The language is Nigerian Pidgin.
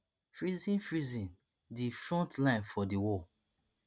freezing freezing di front line for di war